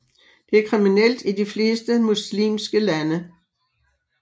Det er kriminelt i de fleste muslimske lande